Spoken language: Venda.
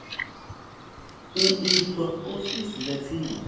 u itwa ofisini ya tsini